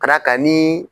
Ka d'a kan ni